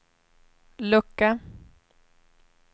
lucka